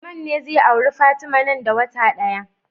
Usman ne zai auri fatima nan da wata daya